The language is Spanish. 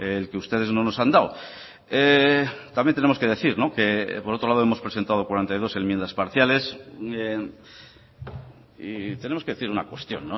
el que ustedes no nos han dado también tenemos que decir que por otro lado hemos presentado cuarenta y dos enmiendas parciales y tenemos que decir una cuestión